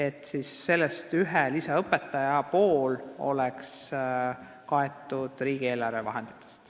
Ja siis oleks ühe lisaõpetaja pool kaetud riigieelarve vahenditest.